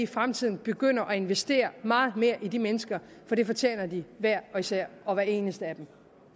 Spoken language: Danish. fremtiden begynder at investere meget mere i de mennesker for det fortjener de hver især og hver eneste af dem